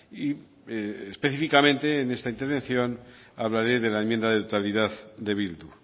y específicamente en esta intervención hablaré de la enmienda de totalidad de bildu